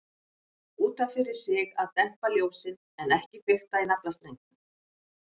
Út af fyrir sig að dempa ljósin, en ekki fikta í naflastrengnum.